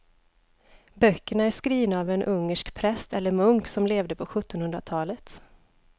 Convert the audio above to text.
Böckerna är skrivna av en ungersk präst eller munk som levde på sjuttonhundratalet.